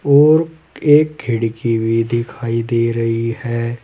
और एक खिड़की भी दिखाई दे रही है।